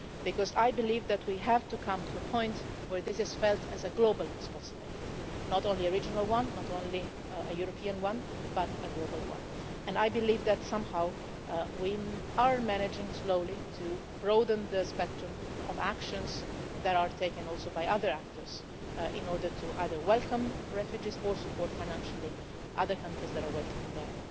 Because I believe that we have to reach a point where this is felt as a global responsibility not just a regional one, not just a European one, but a global one and I believe that we are slowly managing somehow to broaden the spectrum of actions that are taken also by other actors in order either to welcome refugees or support financially other countries that are welcoming them